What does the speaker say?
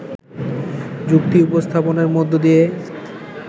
যুক্তি উপস্থাপনের মধ্য দিয়ে